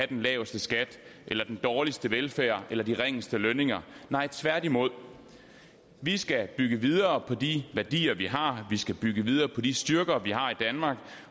den laveste skat eller den dårligste velfærd eller de ringeste lønninger nej tværtimod vi skal bygge videre på de værdier vi har vi skal bygge videre på de styrker vi har i danmark